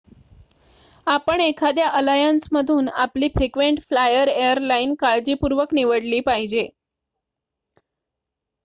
आपण एखाद्या अलायन्समधून आपली फ्रिक्वेंट फ्लायर एयरलाईन काळजीपूर्वक निवडली पाहिजे